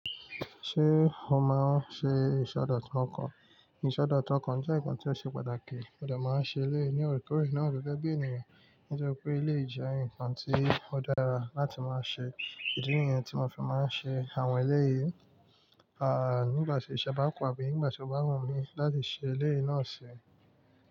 Ṣé o máa ṣe ìṣẹ̀dọ̀tọ́ ọkàn? Ìṣẹ̀dọ̀tọ́ ọkàn jẹ́ nǹkan tí ó ṣe pàtàkì. Modẹ̀ máa ń ṣe eléyìí ní òrekórè náà gẹ́gẹ́ bí ènìyàn, nítorí pé eléyìí jẹ́ ǹkan tí ó dára láti máa ṣe. Ìdí nìyẹn tí mo fi máa ṣe àwọn eléyì, à nígbàtí iṣẹ́ bá kù àbí nígbà tí ó bá wùnmi láti ṣe eléyì ná sì.